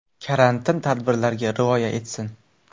Karantin tadbirlariga rioya etsin.